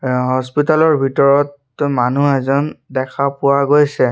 আ হস্পিটাল ৰ ভিতৰত মানুহ এজন দেখা পোৱা গৈছে।